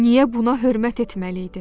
Niyə buna hörmət etməli idi?